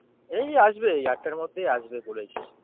এই আসবে, এই আটটার মধ্যেই আসবে বলেছে।